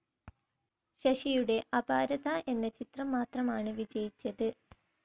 ശശിയുടെ അപാരത എന്ന ചിത്രം മാത്രമാണ് വിജയിച്ചത്.